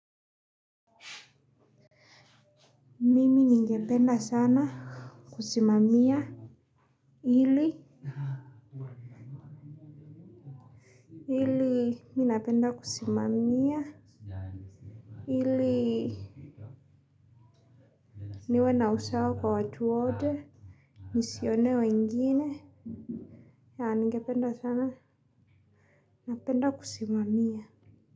Mimi ninge penda sana. Kusimamia ili. Ili mimi napenda kusimamia niwe na usawa kwa watu wote nisionee wengine. Yeah, ningependa sana. Napenda kusimamia.